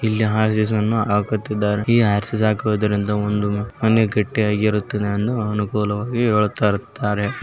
ಇಲ್ಲಿ ಆರ್‌.ಸಿ.ಸಿ. ಅನ್ನು ಹಾಕುತ್ತಿದ್ದಾರೆ ಈ ಆರ್.ಸಿ. ಸಿ. ಹಾಕುವುದರಿಂದ ಒಂದು ಮನೆ ಕಟ್ಟಿ ಆಗಿರುತ್ತದೆ ಎಂದು ಅನುಕೂಲವಾಗಿ ಹೇಳುತ್ತಾರೆ.